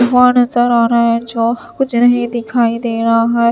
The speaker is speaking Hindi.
धुआं नजर आ रहा है जो कुछ नहीं दिखाई दे रहा है।